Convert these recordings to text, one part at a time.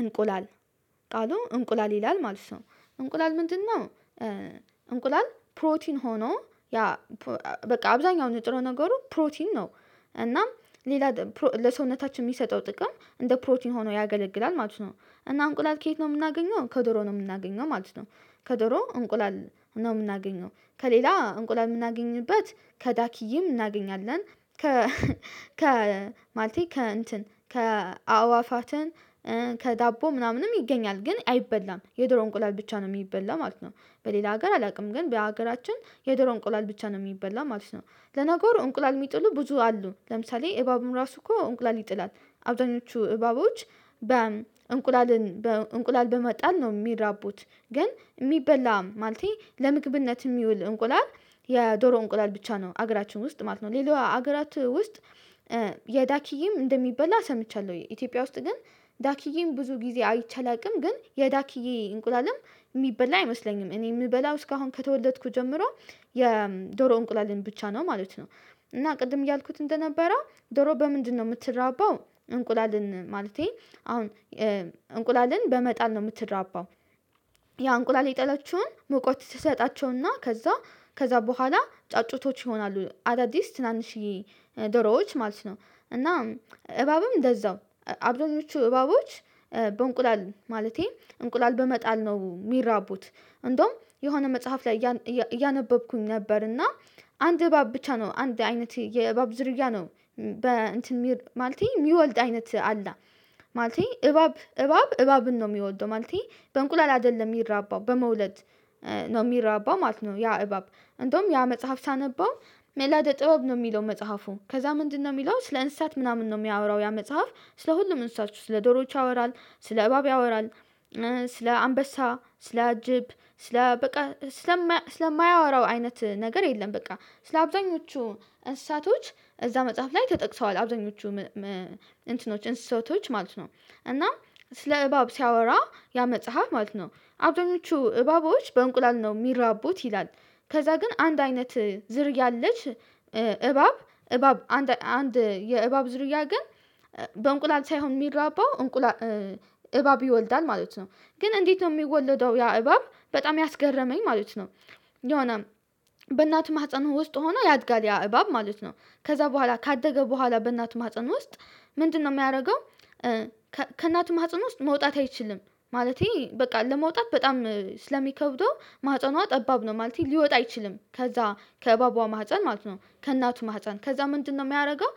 እንቁላል። ቃሉ እንቁላል ይላል ማለት ነው። እንቁላል ምንድን ነው? እንቁላል ፕሮቲን ሆኖ ያ በቃ አብዛኛው ነጥረ ነገሩ ፕሮቲን ነው። እና ሌላ ለሰውነታችን የሚሰጠው ጥቅም እንደ ፕሮቲን ሆኖ ያገለግላል ማለት ነው። እና እንቁላል ከየት ነው የምናገኘው? ከዶሮ ነው የምናገኘው ማለት ነው። ከድሮ እንቁላል ነው የምናገኘው። ከሌላ እንቁላል የምናገኝበት ከዳኪዬም እናገኛለን። ከ ከ ማለቴ ከ እንትን ከ አዋፋትን ከዳቦ ምናምንም ይገኛል። ግን አይበላም። የዶሮ እንቁላል ብቻ ነው የሚበላ ማለት ነው። በሌላ ሀገር አላውቅም። ግን በሀገራችን የዶሮ እንቁላል ብቻ ነው የሚበላ ማለት ነው። ለነገር እንቁላል የሚጥሉ ብዙ አሉ። ለምሳሌ እባቡም ራሱ እኮ እንቁላል ይጥላል። አብዛኞቹ እባቦች እንቁላል በመጣል ነው የሚራቡት። ግን የሚበላ ማለቴ ለምግብነት የሚውል እንቁላል የዶሮ እንቁላል ብቻ ነው። ሀገራችን ውስጥ ማለት ነው። ሌላው ሀገራት ውስጥ የዳኪዬም እንደሚበላ ሰምቻለሁ። ኢትዮጵያ ውስጥ ግን ዳኪዬም ብዙ ጊዜ አይቼ አላቅም። ግን የዳኪዬ እንቁላልም የሚበላ አይመስለኝም። እኔ የምበላው እስካሁን ከተወለድኩ ጀምሮ የዶሮ እንቁላልን ብቻ ነው ማለት ነው። እና ቅድም እያልኩት እንደነበረው ዶሮ በምንድነው የምትራባው? እንቁላልን ማለቴ አሁን እንቁላልን በመጣል ነው የምትራባው። ያ እንቁላል የጣለችውን ሙቀት ትሰጣቸውና ከዛ በኋላ ጫጩቶች ይሆናሉ። አዳዲስ ትናንሽዬ ዶሮዎች ማለት ነው። እና እባብም እንደዛው። አብዱኞቹ እባቦች በእንቁላል ማለቴ እንቁላል በመጣል ነው የሚራቡት። እንደውም የሆነ መጽሐፍ ላይ እያነበብኩኝ ነበር። እና አንድ እባብ ብቻ ነው አንድ አይነት የእባብ ዝርያ ነው በእንትን ማለቴ የሚወልድ አይነት አለ። ማለት እባብ እባብ እባብን ነው የሚወልደው። ማለቴ በእንቁላል አይደለም የሚራባው በመውለድ ነው የሚራባው ማለት ነው ያ እባብ። እንደውም ያ መጽሐፍ ሳነባው መላደ ጥበብ ነው የሚለው መጽሐፉ። ከዛ ምንድነው የሚለው? ስለ እንስሳት ምናምን ነው የሚያወራው ያ መጽሐፍ። ስለ ሁሉም እንስሳቶች። ስለ ዶሮዎች ያወራል። ስለ እባብ ያወራል። ስለ አንበሳ፣ ስለ አጅብ፣ ስለ በቃ ስለማያወራው አይነት ነገር የለም በቃ። ስለ አብዛኞቹ እንስሳቶች እዛ መጽሐፍ ላይ ተጠቅሰዋል። አብዛኞቹ እንስሳዎች ማለት ነው። እና ስለ እባብ ሲያወራ ያ መጽሐፍ ማለት ነው። አብደኞቹ እባቦች በእንቁላል ነው የሚረቡት ይላል። ከዛ ግን አንድ አይነት የእባብ ዝርያ ግን በእንቁላል ሳይሆን የሚራባው እንባብ ይወልዳል ማለት ነው። ግን እንዴት ነው የሚወለደው ያ እባብ በጣም ያስገረመኝ ማለት ነው። የሆነ በእናት ማህፀን ውስጥ ሆኖ ያድጋል ያ እባብ ማለት ነው። ከዛ በኋላ ካደገ በኋላ በእናት ማህፀን ውስጥ ምንድነው የሚያደርገው ከእናቱ ማህፀን ውስጥ መውጣት አይችልም። ማለቴ በቃ ለመውጣት በጣም ስለሚከብደው ማህፀኗ ጠባብ ነው ማለቴ ሊወጣ አይችልም። ከዛ ከእባቧ ማህፀን ማለት ነው። ከእናቱ ማህፀን። ከዛ ምንድነው የሚያደርገው፣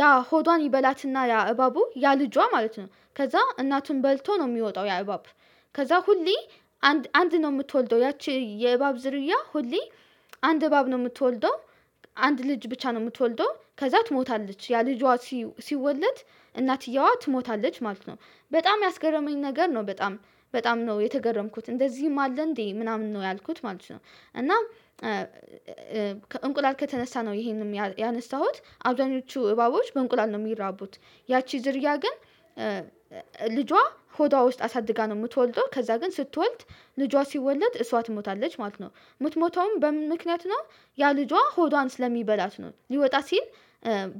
ያ ሆዷን ይበላትና ያ እባቡ ያ ልጇ ማለት ነው ከዛ እናቱን በልቶ ነው የሚወጣው ያ እባብ። ከዛ ሁሌ አንድ ነው የምትወልደው። ያቺ የእባብ ዝርያ ሁሌ አንድ እባብ ነው የምትወልደው። አንድ ልጅ ብቻ ነው የምትወልደው። ከዛ ትሞታለች። ያ ልጇ ሲወለድ እናትየዋ ትሞታለች ማለት ነው። በጣም ያስገረመኝ ነገር ነው። በጣም በጣም ነው የተገረምኩት። እንደዚህም አለ እንዴ ምናምን ነው ያልኩት ማለት ነው። እና እንቁላል ከተነሳሁት ይሄንንም ያነሳሁት። አብዛኞቹ እባቦች በእንቁላል ነው የሚራቡት። ያቺ ዝርያ ግን ልጇ ሆዷ ውስጥ አሳድጋ ነው የምትወልደው። ከዛ ግን ስትወልድ ልጇ ሲወለድ እሷ ትሞታለች ማለት ነው። የምትሞተውም በምን ምክንያት ነው ያ ልጇ ሆዷን ስለሚበላት ነው። ሊወጣ ሲል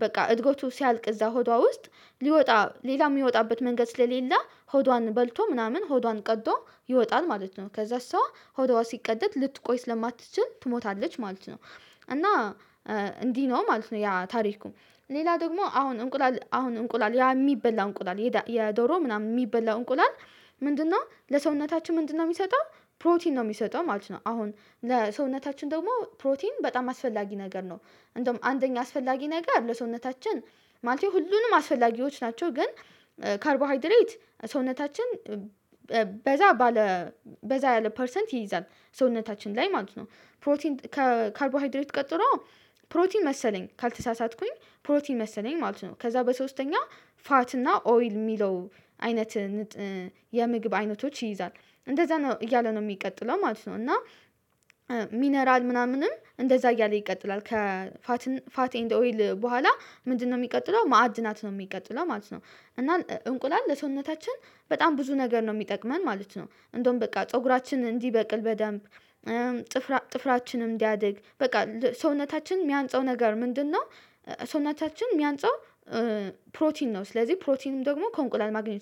በቃ እድጎቱ ሲያልቅ እዛ ሆዷ ውስጥ ሊወጣ ሌላ የሚወጣበት መንገድ ስለሌለ ሆዷን በልቶ ምናምን ሆዷን ቀጥቶ ይወጣን ማለት ነው። ከዛ እሷ ሆዷ ልቀደት ልትቆይ ስለማትችል ትሞታለች ማለት ነው። እና እንዲህ ነው ማለት ነው ያ ታሪኩ። ሌላ ደግሞ አሁን እንቁላል ያ የሚበላ እንቁላል የዶሮ ምናምን የሚበላ እንቁላል ምንድነው ለሰውነታችን ምንድነው የሚሰጠው? ፕሮቲን ነው የሚሰጠው ማለት ነው። አሁን ለሰውነታችን ደግሞ ፕሮቲን በጣም አስፈላጊ ነገር ነው። እንደውም አንደኛ አስፈላጊ ነገር ለሰውነታችን ማለት ነው ሁሉንም አስፈላጊዎች ናቸው። ግን ካርቦሃይድሬት ሰውነታችን በዛ ያለ ፐርሰንት ይይዛል። ሰውነታችን ላይ ማለት ነው። ፕሮቲን ከካርቦሃይድሬት ቀጥሎ ፕሮቲን መሰለኝ። ካልተሳሳትኩኝ ፕሮቲን መሰለኝ ማለት ነው። ከዛ በሶስተኛ ፋት እና ኦይል የሚለው አይነት የምግብ አይነቶች ይይዛል። እንደዛ ነው እያለ ነው የሚቀጥለው ማለት ነው። እና ሚነራል ምናምንም እንደዛ እያለ ይቀጥላል። ከፋት ኤንድ ኦይል በኋላ ምንድነው የሚቀጥለው ማዕድ ናት ነው የሚቀጥለው ማለት ነው። እና እንቁላል ለሰውነታችን በጣም ብዙ ነገር ነው የሚጠቅመን ማለት ነው። እንደውም በቃ ፀጉራችን እንዲበቅል በደንብ ጥፍራችንም እንዲያድግ በቃ ሰውነታችን የሚያንፃው ነገር ምንድነው? ሰውናቻችን የሚያንጸው ፕሮቲን ነው። ስለዚህ ፕሮቲንም ደግሞ ከእንቁላል ማግኘት